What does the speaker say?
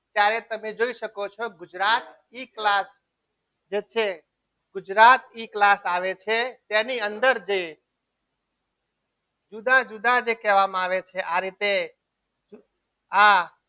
જ્યારે તમે જોઈ શકો છો ગુજરાત ઈ class જે છે ગુજરાત ઈ class આવે છે તેની અંદર જઈ જુદા જુદા જે કહેવામાં આવે છે આ રીતે આ